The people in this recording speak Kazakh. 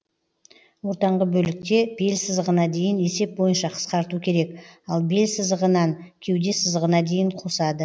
ортаңғы бөлікте бел сызығына дейін есеп бойынша қысқарту керек ал бел сызығынан кеуде сызығына дейін қосады